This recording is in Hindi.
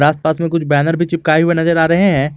आसपास में कुछ बैनर भी चिपकाए हुए नजर आ रहे हैं।